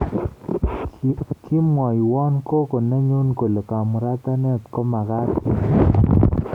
Kimwoiwo gogo nenyu kole kamuratanet komagaat eng tibiik